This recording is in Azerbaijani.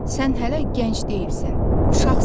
Sən hələ gənc deyilsən, uşaqsan.